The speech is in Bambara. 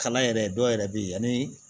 Kalan yɛrɛ dɔw yɛrɛ bɛ ye ani